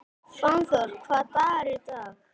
Fannþór, hvaða dagur er í dag?